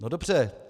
No dobře.